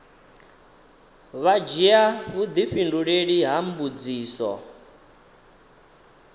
vha dzhia vhudifhinduleli ha mbudziso